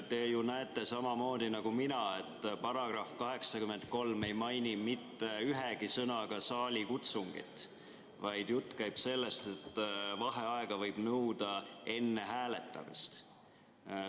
Te ju näete samamoodi nagu mina, et § 83 ei maini mitte ühegi sõnaga saalikutsungit, vaid jutt käib sellest, et vaheaega võib nõuda enne hääletamist.